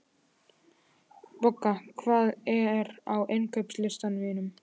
Boga, hvað er á innkaupalistanum mínum?